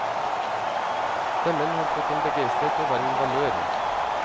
Stemmen har fått en begeistret og varm valør.